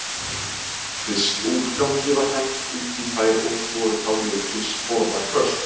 Fiskúrgangi var hent út í þær og voru þá mikil sporðaköst.